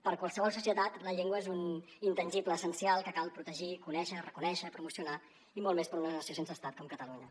per a qualsevol societat la llengua és un intangible essencial que cal protegir conèixer reconèixer i promocionar i molt més per una nació sense estat com catalunya